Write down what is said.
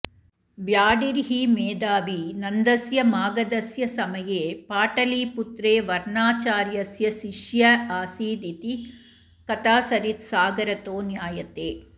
व्याडिर्हि मेधावी नन्दस्य मागधस्य समये पाटलिपुत्रे वर्षाचार्यस्य शिष्य आसीदिति कथासरित्सागरतो ज्ञायते